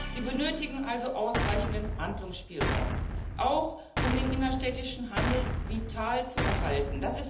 Sie benötigen also ausreichenden Handlungsspielraum, auch um den innerstädtischen Handel vital zu erhalten.